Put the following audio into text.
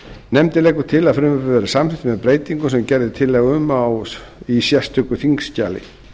nefndin leggur til að frumvarpið verði samþykkt með breytingum sem gerð er tillaga um í sérstöku þingskjali